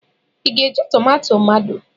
Ị ga-eji tomato mado?